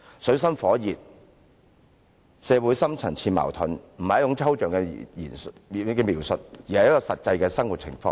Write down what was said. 水深火熱和社會的深層次矛盾並非抽象的描述，而是實際的生活情況。